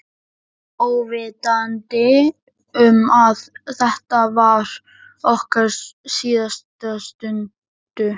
Óvitandi um að þetta var okkar síðasta stund.